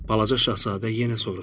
Balaca şahzadə yenə soruşdu.